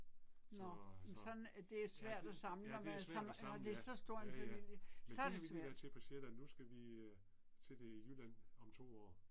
Så, så. Ja det, ja det er svært at samle ja, ja ja. Men det har vi lige været til på Sjælland, nu skal vi øh til det i Jylland om 2 år